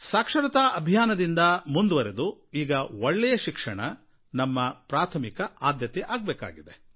ಸಾಕ್ಷರತಾ ಅಭಿಯಾನದಿಂದ ಮುಂದುವರಿದು ಈಗ ಒಳ್ಳೆಯ ಶಿಕ್ಷಣ ಇದು ನಮ್ಮ ಪ್ರಾಥಮಿಕತೆ ಆಗಬೇಕಾಗಿದೆ